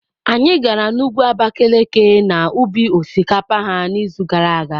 Anyị gara n'ugwu Abakalaki na ubi osikapa ha n'izu gara aga.